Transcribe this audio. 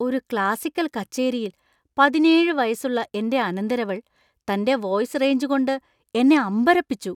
ഒരു ക്ലാസിക്കൽ കച്ചേരിയിൽ പതിനേഴ് വയസ്സുള്ള എന്‍റെ അനന്തരവൾ തന്‍റെ വോയിസ് റേഞ്ച് കൊണ്ട് എന്നെ അമ്പരപ്പിച്ചു .